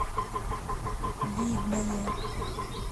видное